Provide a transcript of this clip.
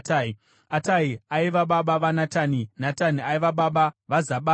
Atai aiva baba vaNatani, Natani aiva baba vaZabhadhi,